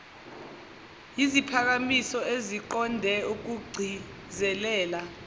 yiziphakamiso eziqonde ukugcizelela